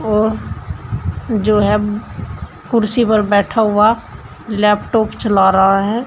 और जो है कुर्सी पर बैठा हुआ लैपटॉप चला रहा है।